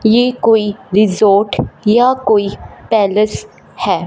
ये कोई रिजॉर्ट या कोई पैलेस है।